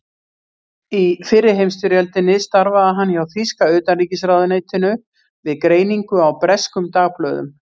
Í fyrri heimsstyrjöldinni starfaði hann hjá þýska utanríkisráðuneytinu við greiningu á breskum dagblöðum.